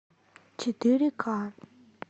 четыре ка